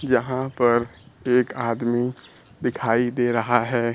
जहां पर एक आदमी दिखाई दे रहा है।